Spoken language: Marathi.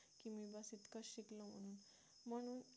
मग